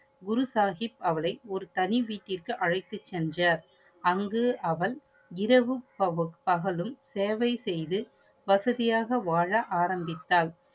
குரு சாஹிப் அவளை ஒரு தனி வீட்டிருக்கு அழைத்து சென்றார். அங்கு அவள் இரவும், பகலும் சேவை செய்து வசதியாக வாழ ஆரம்பித்தால்.